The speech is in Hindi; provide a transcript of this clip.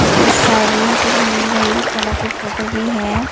इसके साइड में कुछ रंग बिरंगी फूलों के फोटो भी है।